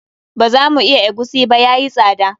Ba za mu iya egusi ba, yayi tsada.